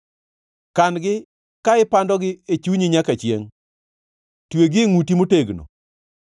Kan-gi ka ipandogi e chunyi nyaka chiengʼ; twegi e ngʼuti motegno.